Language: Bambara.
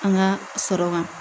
An ka sɔrɔ kan